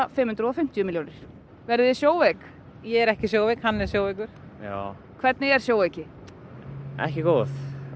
fimm hundruð og fimmtíu milljónir verðið þið sjóveik ég er ekki sjóveik hann er sjóveikur já hvernig er sjóveiki ekki góð